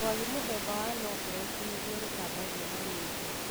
Rwagĩ mũthemba wa Anopheles nĩrũo rũtambagia malaria.